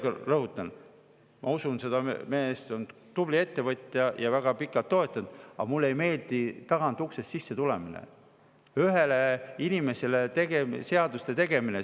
Ma veel kord rõhutan, et ma usun seda meest, ta on tubli ettevõtja ja on väga pikalt toetanud, aga mulle ei meeldi tagauksest sisse tulemine, ühele inimesele seaduste tegemine.